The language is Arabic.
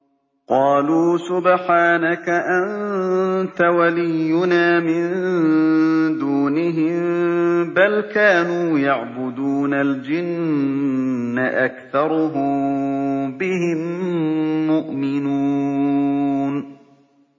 قَالُوا سُبْحَانَكَ أَنتَ وَلِيُّنَا مِن دُونِهِم ۖ بَلْ كَانُوا يَعْبُدُونَ الْجِنَّ ۖ أَكْثَرُهُم بِهِم مُّؤْمِنُونَ